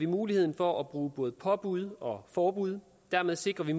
muligheden for at bruge både påbud og forbud dermed sikrer vi